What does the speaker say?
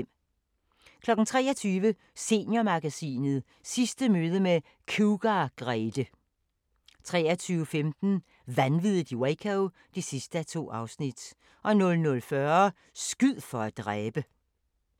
23:00: Seniormagasinet – Sidste møde med Cougar-Grethe 23:15: Vanviddet i Waco (2:2) 00:40: Skyd for at dræbe!